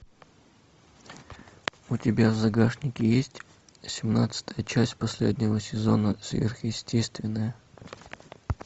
у тебя в загашнике есть семнадцатая часть последнего сезона сверхъестественное